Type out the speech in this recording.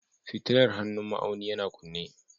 Fitilar hannun ma'auni yana kunne